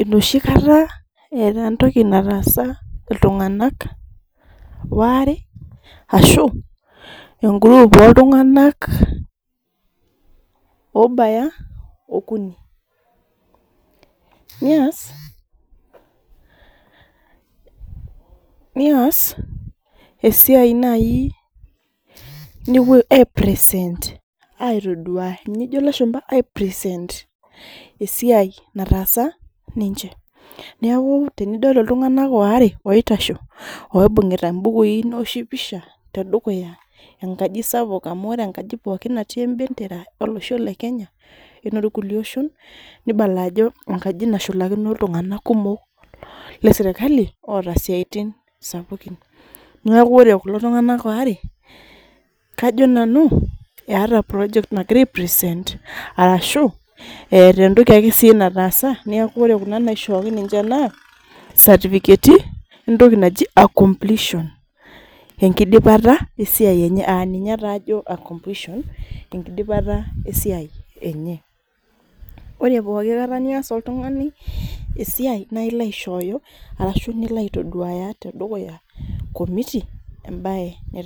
enoshi kata eeta entoki nataasa iltung'anak waare, ashu e group oltung'ani, obaya okuni. Nias esiai nai nepuo ai present aitoduaya ninye ejo ilashumpa present esiai nataasa ninche. Neeku tenidol iltung'anak waare oitasho, oibung'ita bukui newoshi picha tedukuya enkaji sapuk amu ore enkaji pookin natii ebendera olosho le Kenya enorkulie oshon, nibala ajo enkaji nashulakino iltung'anak kumok lesirkali, oota siaitin sapukin. Neeku ore kulo tung'anak waare, kajo nanu eeta project nagira ai present ,arashu eeta entoki si nataasa, neeku ore kuna naishooki ninche naa, satifiketi entoki naji completion. Enkidipata esiai enye aninye taa ajo completion, enkidipata esiai enye. Ore pooki kata nias oltung'ani esiai, nailo aishooyo nilo aitoduaya tedukuya komiti, ebae